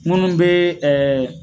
Munnu be ɛ